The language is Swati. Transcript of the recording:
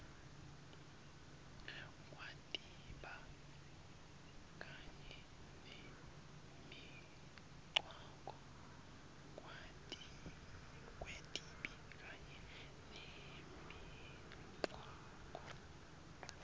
kwetibi kanye nemigwaco